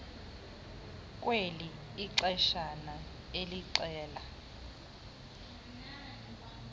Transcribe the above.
kweli ixeshana elixela